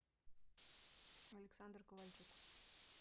александр ковальчук